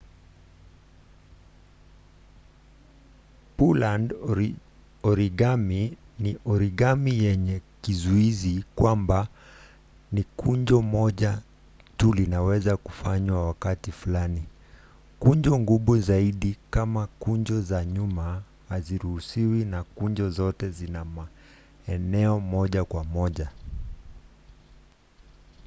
pureland origami ni origami yenye kizuizi kwamba ni kunjo moja tu linaweza fanywa kwa wakati fulani kunjo ngumu zaidi kama kunjo za nyuma haziruhusiwi na kunjo zote zina maeneo moja kwa moja